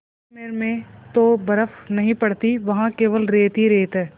जैसलमेर में तो बर्फ़ नहीं पड़ती वहाँ केवल रेत ही रेत है